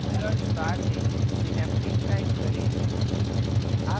search bar में synaptic type करें